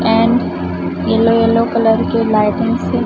and yellow yellow colour के लाइटिंग से--